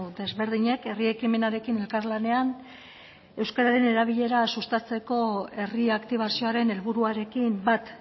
desberdinek herri ekimenarekin elkarlanean euskararen erabilera sustatzeko herri aktibazioaren helburuarekin bat